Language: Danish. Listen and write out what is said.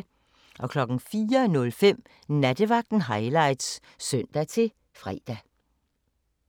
04:05: Nattevagten Highlights (søn-fre)